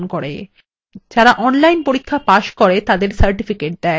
যারা online পরীক্ষা pass করে তাদের certificates দেয়